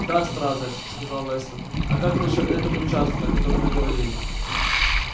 да стразерс сказал вестон а как насчёт этого участка о котором вы говорили